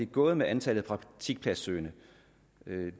gået med antallet af praktikpladssøgende